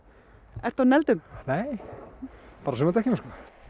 ertu á negldum nei bara sumardekkjunum sko